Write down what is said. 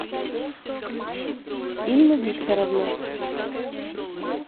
инну викторовну